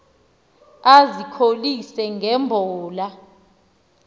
ezikholise nge mbola